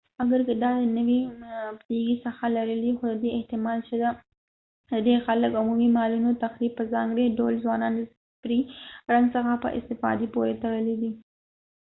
اګر که دا د نوې پدیدې څخه لرې دی خو ددې احتمال شته چې ډیر خلک د عمومي مالونو تخریب په ځانګړي ډول ځوانان د سپرې رنګ څخه په استفادې پورې تړلی دی